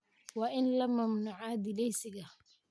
Waa in la mamnuucaa dhilleysiga.